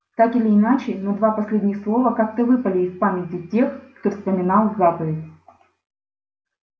так или иначе но два последних слова как-то выпали из памяти тех кто вспоминал заповедь